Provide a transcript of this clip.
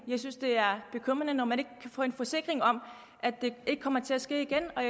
jeg synes det er bekymrende når man ikke kan få en forsikring om at det ikke kommer til at ske igen og